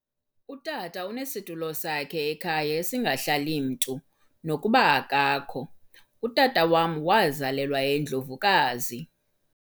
Utata unesitulo sakhe ekhaya esingahlali mntu nokuba akakho utata wama wazalelwa eNdlovukazi